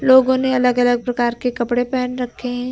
लोगों ने अलग अलग प्रकार के कपड़े पहन रखे हैं।